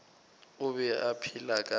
o be a phela ka